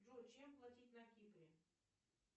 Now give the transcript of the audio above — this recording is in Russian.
джой чем платить на кипре